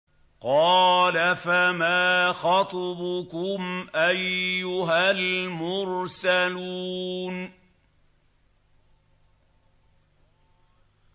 قَالَ فَمَا خَطْبُكُمْ أَيُّهَا الْمُرْسَلُونَ